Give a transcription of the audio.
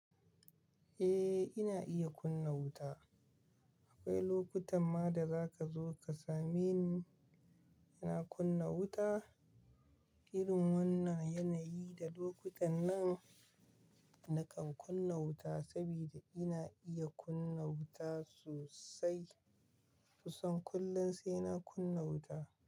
Eh, ina iya kunna wuta. Akwai lokutan ma da za ka zo ka same ni ina kunna wuta. Irin wannan yanayi da lokutan nan nakan kunna wuta saboda ina iya kunna wuta sosai. Kusan kullum sai na kunna wuta.